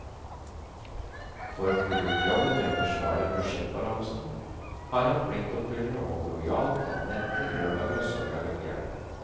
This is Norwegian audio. For å få gjort jobben med å forsvare budsjettbalansen, har han pliktoppfyllende og lojalt tatt netter, lørdager og søndager til hjelp.